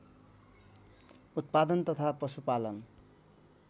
उत्पादन तथा पशुपालन